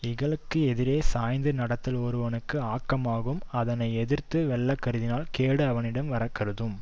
இகலுக்கு எதிரே சாய்ந்து நடத்தல் ஒருவனுக்கு ஆக்கமாகும் அதனை எதிர்த்து வெல்லக்கருதினால் கேடு அவனிடம் வர கருதும்